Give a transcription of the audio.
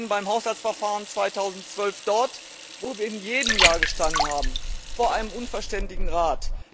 Wir stehen beim Haushaltsverfahren 2012 dort, wo wir in jedem Jahr gestanden haben vor einem unverständigen Rat.